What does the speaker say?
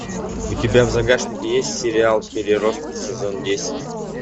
у тебя в загашнике есть сериал переростки сезон десять